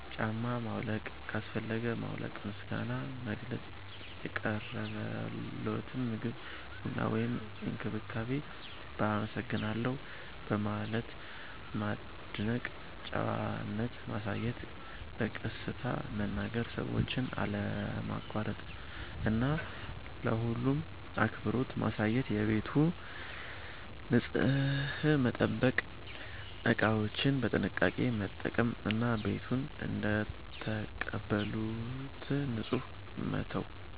ጫማ ማውለቅ ካስፈለገ ማውለቅ። ምስጋና መግለጽ – የቀረበልዎትን ምግብ፣ ቡና ወይም እንክብካቤ በ“አመሰግናለሁ” በማለት ማድነቅ። ጨዋነት ማሳየት – በቀስታ መናገር፣ ሰዎችን አለማቋረጥ እና ለሁሉም አክብሮት ማሳየት። ቤቱን ንጹህ መጠበቅ – እቃዎችን በጥንቃቄ መጠቀም እና ቤቱን እንደተቀበሉት ንጹህ መተው።